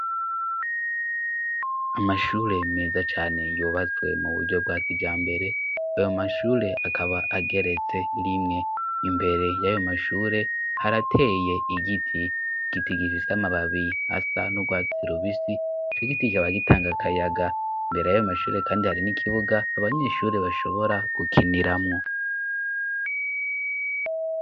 Amashure meza cane yubatswe mu buryo bwa kijambere. Ayo mashure akaba ageretse rimwe. Imbere y'ayo mashure, harateye igiti gifise amababi asa n'urwatsi rubisi, ico giti kikaba gitanga akayaga . Imbere y'ayo mashure kandi, hari n'ikibuga abanyeshuri bashobora gukiniramo.